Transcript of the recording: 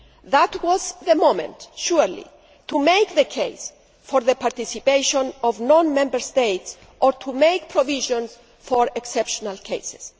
ago. That was the moment, surely, to make the case for the participation of non Member States or to make provisions for exceptional cases.